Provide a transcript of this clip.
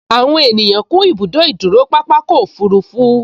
Àwọn ènìyàn kún ibùdó ìdúró pápákọ̀ òfurufú